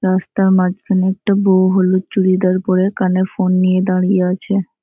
রাস্তার মাঝখানে একটা বউ হলুদ চুড়িদার পরে কানে ফোন নিয়ে দাঁড়িয়ে আছে।